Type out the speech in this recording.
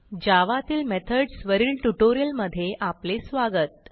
जावा तील मेथड्स वरील ट्युटोरियलमधे स्वागत